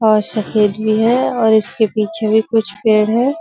और सफेद भी है और इसके पीछे भी कुछ पेड़ हैं।